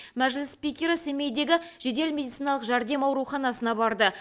мәжіліс спикері семейдегі жедел медициналық жәрдем ауруханасына барды